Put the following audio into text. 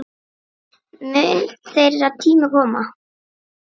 Mun þeirra tími koma?